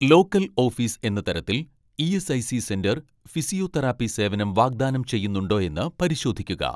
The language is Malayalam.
ലോക്കൽ ഓഫീസ് എന്ന തരത്തിൽ ഇ.എസ്.ഐ.സി സെന്റർ ഫിസിയോതെറാപ്പി സേവനം വാഗ്ദാനം ചെയ്യുന്നുണ്ടോയെന്ന് പരിശോധിക്കുക